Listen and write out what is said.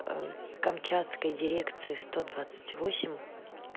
камчатской дирекции сто двадцать восемь